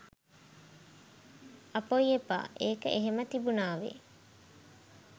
"අපොයි එපා! ඒක එහෙම තිබුණාවේ